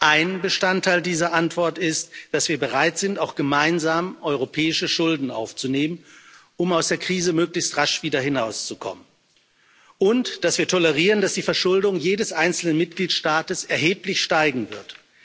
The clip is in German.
Ein Bestandteil dieser Antwort ist, dass wir bereit sind, auch gemeinsam europäische Schulden aufzunehmen, um aus der Krise möglichst rasch wieder hinauszukommen, und dass wir tolerieren, dass die Verschuldung jedes einzelnen Mitgliedstaates erheblich steigen wird.